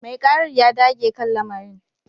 Mai karar ya dage kan lamarin